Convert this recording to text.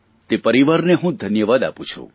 તે પરિવારને હું ધન્યવાદ આપું છું